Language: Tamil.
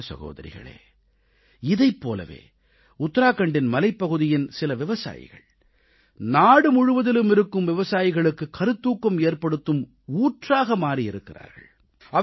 சகோதர சகோதரிகளே இதைப் போலவே உத்தராகண்டின் மலைப்பகுதியின் சில விவசாயிகள் நாடுமுழுவதிலும் இருக்கும் விவசாயிகளுக்கு கருத்தூக்கம் ஏற்படுத்தும் ஊற்றாக மாறி இருக்கிறார்கள்